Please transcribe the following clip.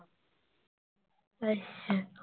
ਅੱਛਾ।